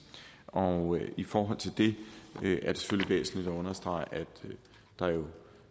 og i forhold til det er det væsentligt at understrege at der jo